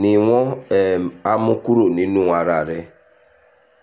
ni wọ́n um á mú kúrò nínú ara rẹ